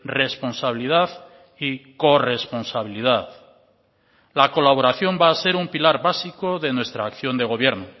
responsabilidad y corresponsabilidad la colaboración va a ser un pilar básico de nuestra acción de gobierno